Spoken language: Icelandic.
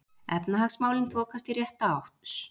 Efnahagsmálin þokast í rétta átt